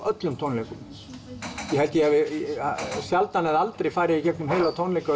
öllum tónleikum ég held ég hafi sjaldan eða aldrei farið í gegnum heila tónleika